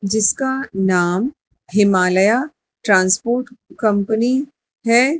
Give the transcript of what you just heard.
जिसका नाम हिमालय ट्रांसपोर्ट कंपनी है।